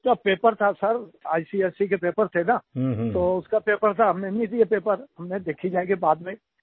उसका पेपर था sir ICSE के पेपर थे ना तो उसका पेपर था तो हमने नहीं दिये पेपर मैंने देखी जायेगी बाद में